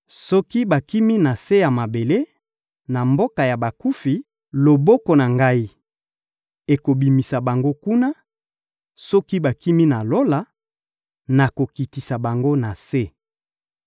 Soki bakimi na se ya mabele, na mboka ya bakufi, loboko na Ngai ekobimisa bango kuna; soki bakimi na Lola, nakokitisa bango na se.